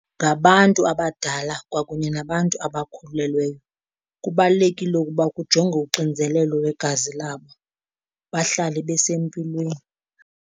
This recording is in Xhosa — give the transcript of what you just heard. Ngabantu abadala kwakunye nabantu abakhulelweyo, kubalulekile ukuba kujongwe uxinzelelo lwegazi labo bahlale besempilweni.